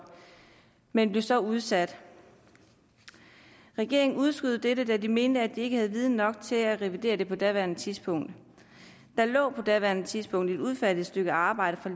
men den blev så udsat regeringen udskød dette da de mente at de ikke havde viden nok til at revidere den på daværende tidspunkt der lå på daværende tidspunkt et udfærdiget stykke arbejde fra